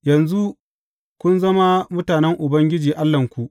Yanzu kun zama mutanen Ubangiji Allahnku.